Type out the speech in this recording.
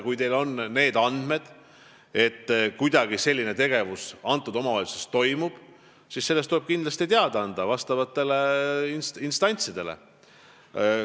Kui teil on andmeid, et selline tegevus omavalitsuses toimub, siis tuleb sellest vastavatele instantsidele teada anda.